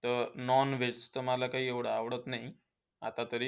त Non-veg तर मला काही एवढं आवडत नाही. आता तरी.